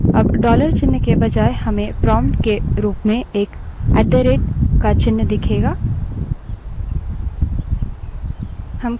अब dollar चिन्ह के बजाय हमें prompt के रूप में एक at द rate का चिन्ह दिखेगा